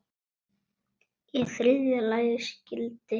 Í þriðja lagi skyldi